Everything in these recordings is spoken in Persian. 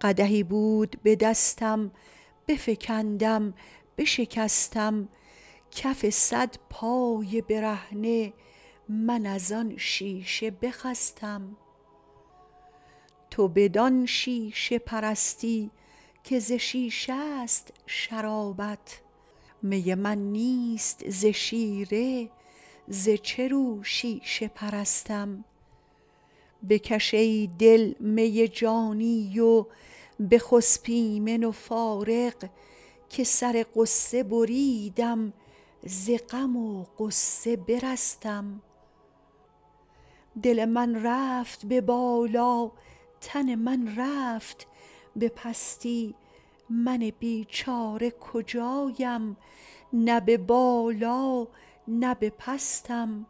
قدحی بود به دستم بفکندم بشکستم کف صد پای برهنه من از آن شیشه بخستم تو بدان شیشه پرستی که ز شیشه است شرابت می من نیست ز شیره ز چه رو شیشه پرستم بکش ای دل می جانی و بخسب ایمن و فارغ که سر غصه بریدم ز غم و غصه برستم دل من رفت به بالا تن من رفت به پستی من بیچاره کجایم نه به بالا نه به پستم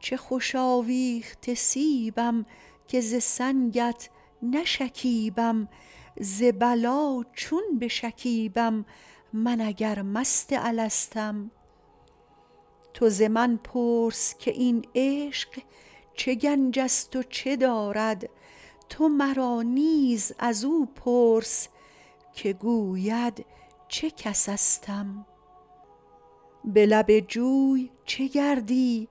چه خوش آویخته سیبم که ز سنگت نشکیبم ز بلی چون بشکیبم من اگر مست الستم تو ز من پرس که این عشق چه گنج است و چه دارد تو مرا نیز از او پرس که گوید چه کسستم به لب جوی چه گردی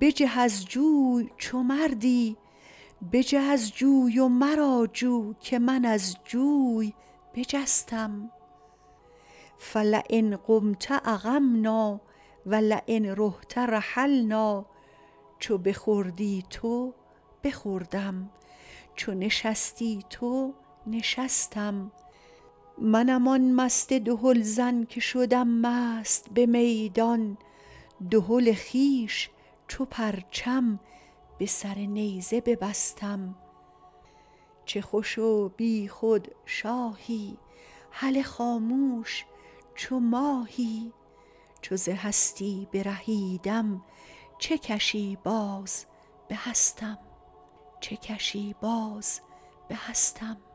بجه از جوی چو مردی بجه از جوی و مرا جو که من از جوی بجستم فلین قمت اقمنا و لین رحت رحلنا چو بخوردی تو بخوردم چو نشستی تو نشستم منم آن مست دهلزن که شدم مست به میدان دهل خویش چو پرچم به سر نیزه ببستم چه خوش و بیخود شاهی هله خاموش چو ماهی چو ز هستی برهیدم چه کشی باز به هستم